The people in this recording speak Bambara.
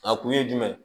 A kun ye jumɛn ye